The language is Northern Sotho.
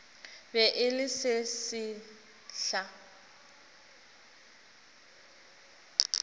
be e le se sesehla